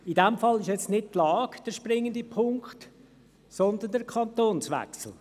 In diesem Fall ist nicht die Lage der springende Punkt, sondern der Kantonswechsel.